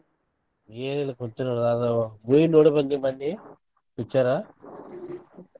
ಏನಿಲ್ಲ ಕುಂತಿನಿ ನೋಡಾ movie ನೋಡಿ ಬಂದ್ನಿ ಮನ್ನೆ picture ಆ .